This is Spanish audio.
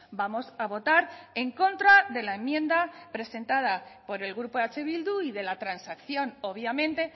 vamos a votar en contra de la enmienda presentada por el grupo eh bildu y de la transacción obviamente